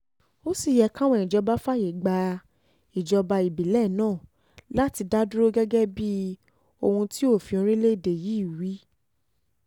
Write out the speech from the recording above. ó sì yẹ káwọn ìjọba fààyè gba ìjọba ìbílẹ́ẹ̀nàá láti dá dúró gẹ́gẹ́ bíi ohun tí òfin orílẹ̀‐èdè yìí wí wí